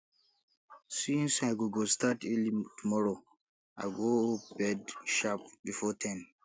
since i go go start early tomorrow i go bed sharp before ten